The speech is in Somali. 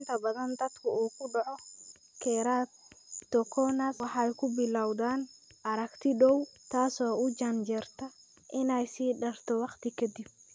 Inta badan dadka uu ku dhaco keratoconus waxay ku bilowdaan aragti dhow, taasoo u janjeerta inay ka sii darto waqti ka dib.